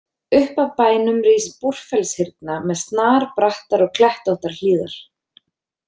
Upp af bænum rís Búrfellshyrna með snarbrattar og klettóttar hlíðar.